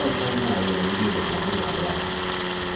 otshaywayo nomlilo mazingalahlwa